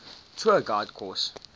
tour guide course